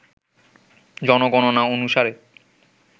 জনগণনা অনুসারে